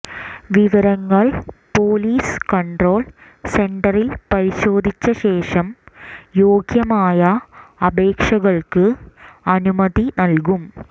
വിവരങ്ങൾ police control സെന്ററിൽ പരിശോധിച്ചശേഷം യോഗ്യമായ അപേക്ഷകൾക്ക് അനുമതി നൽകും